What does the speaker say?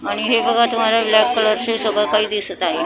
आणि हे बघा तुम्हाला ब्लॅक कलरचे सगळं काही दिसत आहे .